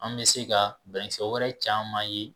An mɛ se ka banakisɛ wɛrɛ caman ye